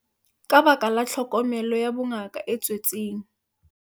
Ka lebaka la tlhokomelo ya bongaka e tswetseng